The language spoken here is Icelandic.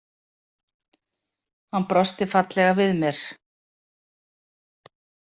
Hann brosti fallega við mér.